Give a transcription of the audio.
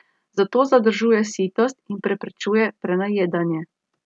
Zato zadržuje sitost in preprečuje prenajedanje.